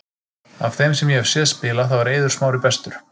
Af þeim sem ég hef séð spila, þá er Eiður Smári bestur.